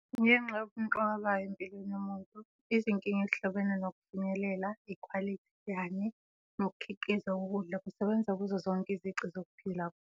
Ngenxa yobumqoka bayo empilweni yomuntu, izinkinga ezihlobene nokufinyelela, ikhwalithi kanye nokukhiqizwa kokudla kusebenza kuzo zonke izici zokuphila komuntu.